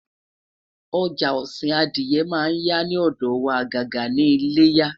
ọja osin Adiye man ya ni odo wa ajaja ni iléyá